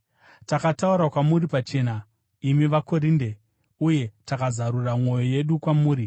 Takataura kwamuri pachena, imi vaKorinde, uye takazarura mwoyo yedu kwamuri.